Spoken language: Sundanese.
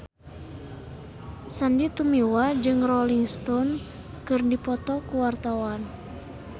Sandy Tumiwa jeung Rolling Stone keur dipoto ku wartawan